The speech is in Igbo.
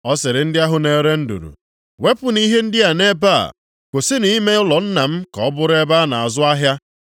Ọ sịrị ndị ahụ na-ere nduru, “Wepụnụ ihe ndị a nʼebe a. Kwụsịnụ ime ụlọ Nna m ka ọ bụrụ ebe a na-azụ ahịa.”